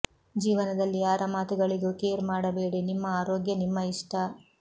ಜೀವನದಲ್ಲಿ ಯಾರ ಮಾತುಗಳಿಗೂ ಕೇರ್ ಮಾಡಬೇಡಿ ನಿಮ್ಮ ಆರೋಗ್ಯ ನಿಮ್ಮ ಇಷ್ಟ